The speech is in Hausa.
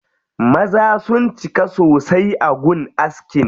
Maza sun cika sosai a gun askin.